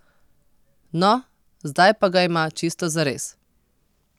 No, zdaj pa ga ima čisto zares!